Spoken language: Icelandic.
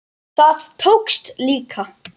Það tókst líka.